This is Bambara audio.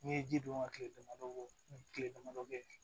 N'i ye ji don ka kile damadɔ bɔ kile dama dɔ ye